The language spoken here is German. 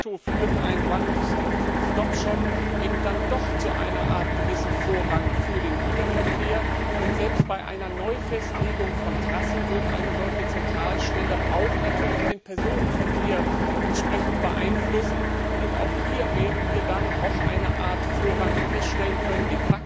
de facto führt ein One Stop Shop eben doch zu einer Art Vorrang für den Güterverkehr, und selbst bei einer Neufestlegung von Trassen wird eine solche Zentralstelle auch den Personenverkehr entsprechend beeinflussen, und auch hier werden wir eine Art Vorrang feststellen können,